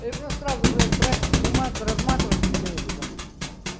да их просто сразу блять брать вымат разматывать чем-нибудь вон